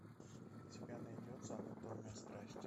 у тебя найдется анатомия страсти